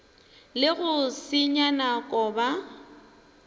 le go senya nako ba